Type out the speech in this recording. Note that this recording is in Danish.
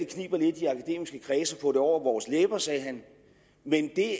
få det over vores læber men det